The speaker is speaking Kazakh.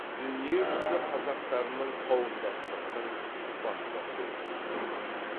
дүниежүзі қазақтарының қауымдастығының баспасөз қызметі